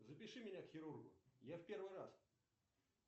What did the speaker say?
запиши меня к хирургу я в первый раз